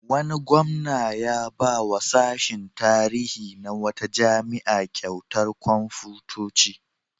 Wani gwamna ya ba wa sashin tarihi na wata jami'a kyautar kwamfutoci.